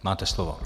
Máte slovo.